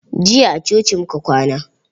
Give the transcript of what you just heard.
Jiya a coci muka kwana.